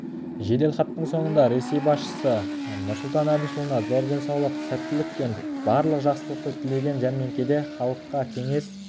жеделхаттың соңында ресей басшысы нұрсұлтан әбішұлына зор денсаулық сәттілік пен барлық жақсылықты тілеген жәрмеңкеде халыққа кеңес